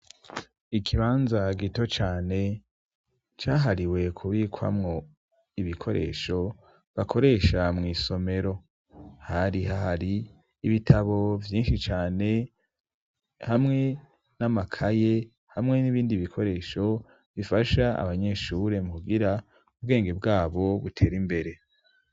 Ikibanza gito cane cahariwe kubikwamwo ibikoresho bakoresha mw' isomero ,hari ahari ibitabo vyinshi cane, hamwe n'amakaye hamwe n'ibindi bikoresho ,bifasha abanyeshure kugira ubwenge bwabo butera imbere.